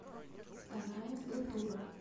вторая натура